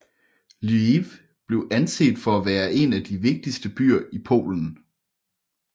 Lviv blev anset for at være en af de vigtigste byer i Polen